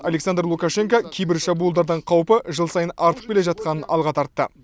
александр лукашенко кибершабуылдардың қаупі жыл сайын артып келе жатқанын алға тартты